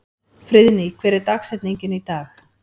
Friðný, hver er dagsetningin í dag?